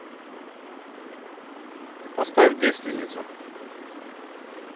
поставь девственница